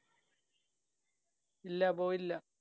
ഇല്ല. പോയില്ല.